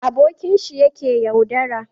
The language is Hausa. abokinshi ya ke yaudara